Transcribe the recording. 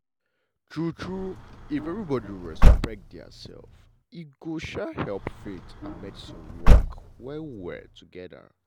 true true if everybody respect their self e go um help faith and medicine work well well together.